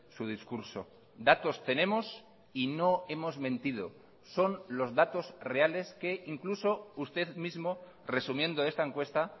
su discurso datos tenemos y no hemos mentido son los datos reales que incluso usted mismo resumiendo esta encuesta